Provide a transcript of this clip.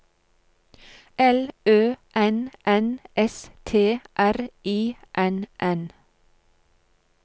L Ø N N S T R I N N